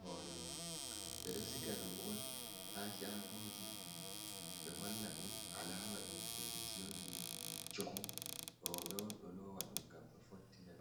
hore mum bedo siga dum on ha shagoji be holla ɗum alama ɗum kuje jiyon je choku robe on do lowa dum gam be fottina.